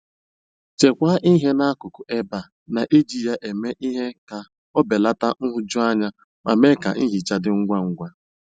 Chekwaa ihe n'akụkụ ebe a na - eji ya eme ihe ka o belata nhụjuanya ma mee ka nhicha dị ngwa ngwa.